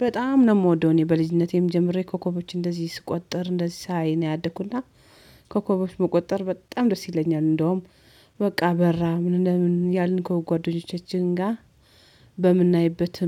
በጣም ነው የምወደው እኔ በልጅነቴም ጀምሬ ኮከቦች እንደዚህ ስቆጠር እንደዚህ ሳይ ነው ያደኩና ኮከቦች መቆጠር በጣም ደስ ይለኛል። እንደውም በቃ በራ ምን ለምን ያልን ከጓደኞቻችን ጋር።